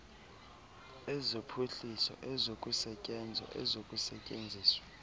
ezophuhliso ezokusetyenzwa ezokusetyenziswa